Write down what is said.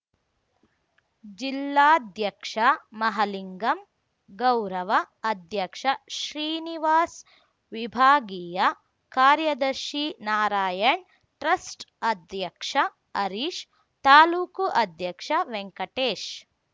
ಜಿಲ್ಲಾಧ್ಯಕ್ಷ ಮಹಲಿಂಗಮ್‌ ಗೌರವ ಅಧ್ಯಕ್ಷ ಶ್ರೀನಿವಾಸ್‌ ವಿಭಾಗಿಯ ಕಾರ್ಯದರ್ಶಿ ನಾರಾಯಣ್‌ ಟ್ರಸ್ಟ್‌ ಅಧ್ಯಕ್ಷ ಹರೀಶ್‌ ತಾಲೂಕು ಅಧ್ಯಕ್ಷ ವೆಂಕಟೇಶ್‌